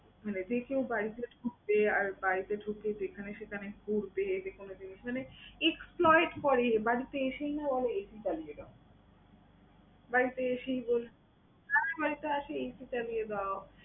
মানে যে কেউ বাড়িতে ঢুকবে, আর বাড়িতে ঢুকে যেখানে সেখানে ঘুরবে, যেকোনো জিনিস মানে exploit করে, বাড়িতে এসেই না বলে AC চালিয়ে দাও। বাড়িতে এসেই বস যার বাড়িতে আসে AC চালিয়ে দাও।